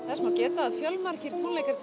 þess má geta að fjölmargir tónleikar